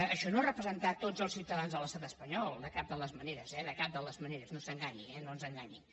això no és representar tots els ciutadans de l’estat espanyol de cap de les maneres eh de cap de les maneres no s’enganyi eh no ens enganyi